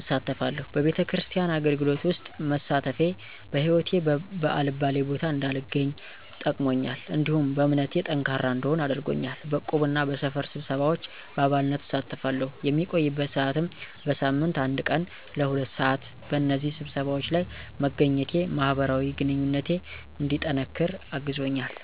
አሳልፋለሁ፤ በቤተክርስቲያን አገልግሎት ውስጥ መሳተፌ በህይወቴ በአልባሌ ቦታ እንዳልገኝ ጠቅሞኛል፤ እንዲሁም በእምነቴ ጠንካራ እንድሆን አድርጎኛል። በዕቁብ እና በሰፈር ስብሰባዎች በአባልነት እሳተፋለሁ፣ የምቆይበት ሰዓትም በሳምንት አንድ ቀን ለ2:00 ሰዓት (ለሁለት ሰዓት)፣ በእነዚህ ስብሰባዎች ለይ መገኘቴ ማህበራዊ ግንኙነቴ እንዲጠነቅር አግዞኛል።